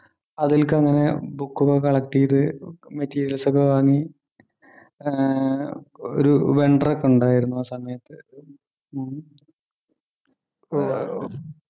അതിൽക്ക് അങ്ങനെ book ഒക്കെ collect ചെയ്ത് materials ഒക്കെ വാങ്ങി ആഹ് ഒരു vendor ഒക്കെ ഉണ്ടായിരുന്നു ആ സമയത്ത് ഉം